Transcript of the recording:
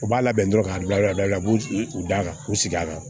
U b'a labɛn dɔrɔn k'a bila u b'u u dan ka u sigi a kan